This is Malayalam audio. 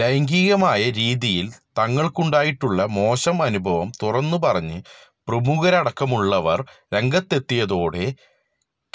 ലൈംഗികമായ രീതിയില് തങ്ങള്ക്കുണ്ടായിട്ടുള്ള മോശം അനുഭവം തുറന്നു പറഞ്ഞ് പ്രമുഖരടക്കമുള്ളവര് രംഗത്തെത്തിയതോടെ